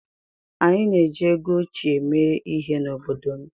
Anyị na-eji ego óchiè eme ihe n'obodo m.